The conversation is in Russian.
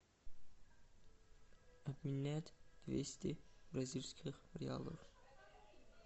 обменять двести бразильских реалов